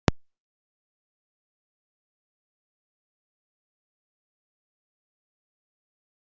Gunnar Atli: Er eitthvað vitað um eldsupptök?